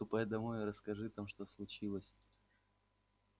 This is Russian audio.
ступай домой и расскажи там что случилось